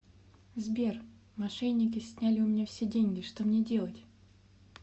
сбер мошенники сняли у меня все деньги что мне делать